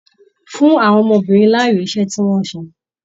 Fún àwọn ọmọbìnrin láàyò iṣẹ tí wọn ṣe!